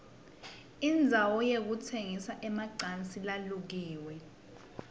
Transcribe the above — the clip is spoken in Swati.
indzawo yokutsengisa emalansi lalukiwe